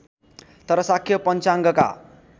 तर शाक्य पञ्चाङ्गका